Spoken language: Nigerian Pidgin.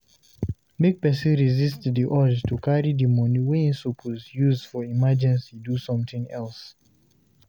Make person resist di urge to carry di money wey im suppose use for emergency do something else